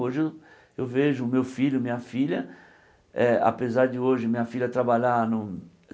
Hoje eu vejo meu filho, minha filha eh, apesar de hoje minha filha trabalhar num